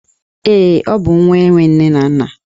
Ee, ọ bụ nwa enwe nne na nna